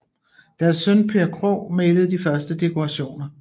Deres søn Per Krohg malede de første dekorationer